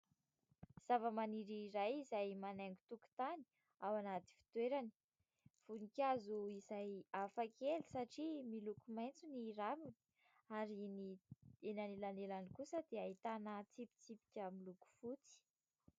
Zavamaniry iray izay manaingo tokotany ao anaty fitoerany ; voninkazo izay hafa kely satria miloko maitso ny raviny ary ny eny anelanelany kosa dia ahitana tsipitsipika miloko fotsy.